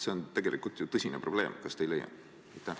See on tegelikult tõsine probleem, kas te ei leia?